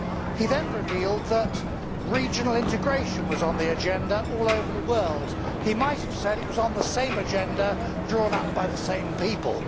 He then revealed that regional integration was on the agenda all over the world. He might have said it was on the same agenda drawn up by the same people.